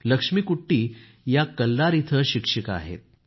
लक्ष्मीकुट्टी या कल्लार इथं शिक्षिका आहेत